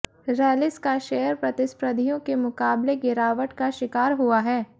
रैलिस का शेयर प्रतिस्पर्धियों के मुकाबले गिरावट का शिकार हुआ है